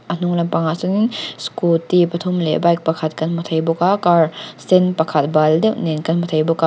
a hnung lampang ah sawn in scooty pathum leh bike pakhat kan hmu thei bawk a car sen pakhat bal deuh nen kan hmu thei bawk a--